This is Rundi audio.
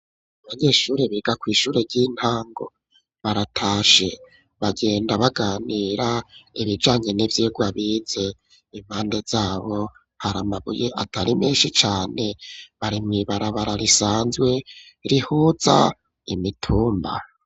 Abanyeshuri biga ku ishure ry'intango baratashe bagenda baganira ibijanye n'ivyirwa bize impande zabo hari amabuye atari menshi cane bari m ibarabara risanzwe rihuza imitumba.